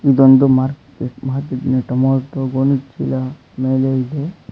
ಇದೊಂದು ಮರ್ಕೆಟ್ ಮಾರ್ಕೆಟಿನಲ್ಲಿ ಟೊಮಾಟೋ ಗೋಣಿಚೀಲ ಮೇಲೆ ಐತೆ.